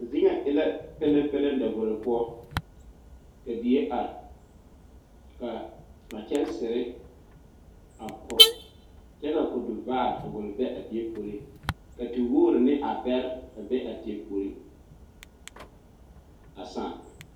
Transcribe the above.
Zie ŋa e la peleŋ peleŋ davoro poɔ kyɛ ka die are ka ka kyɛnsiri a kore kyɛ ka kɔduvaare a gɔl be a die puoriŋ ka tewogre ne abɛre be a teɛ puoriŋ a saa.